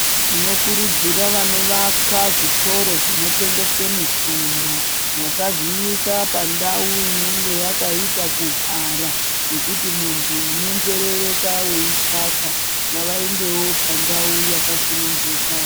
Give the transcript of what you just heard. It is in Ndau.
Tinokurudzira vanodakarira zvitoro zvinotengese mitombo vasazviisa pandau inenge yakaita kuhwara pekuti muntu unonzerereka weitsvaka, ngavaendewo pandau yakasununguka.